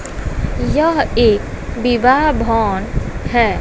यह एक विवाह भवन है।